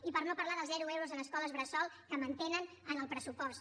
i per no parlar dels zero euros en escoles bressol que mantenen en el pressupost